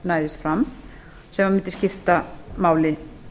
næðist fram sem mundi skipta máli